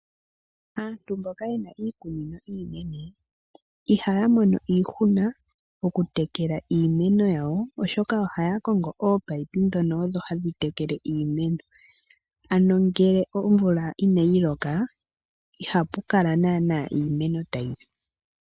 Aantu mboka yena iikunino iinene ihaya mono iihuna ko kutekela iimeno yawo oshoka ohaya kongo oopayipi dhono odho hadhi tekele iimeno. Ano ngele omvula inayi loka ihapu kala naana iimeno ta yisi.